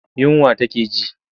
Yunwa take ji.